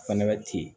Fɛnɛ bɛ ten